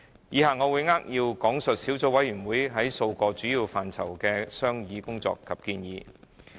以下我會扼要講述小組委員會在數個主要範疇的商議工作及建議。